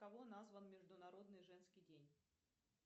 кого назван международный женский день